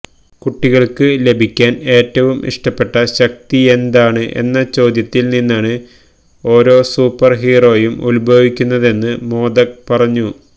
കുട്ടികള്ക്ക് ലഭിക്കാന് ഏറ്റവും ഇഷ്ടപ്പെട്ട ശക്തിയെന്താണ് എന്ന ചോദ്യത്തില് നിന്നാണ് ഓരോ സൂപ്പര് ഹീറോയും ഉത്ഭവിക്കുന്നതെന്ന് മോദക് പറഞ്ഞു